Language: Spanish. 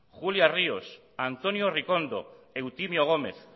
julia ríos antonio ricondo eutimio gómez